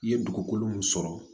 I ye dugukolo min sɔrɔ